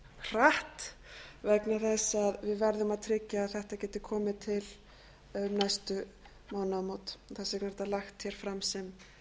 hratt vegna þess að við verðum að tryggja að þetta geti komið til um næstu mánaðamót þá sé þetta lagt hér fram sem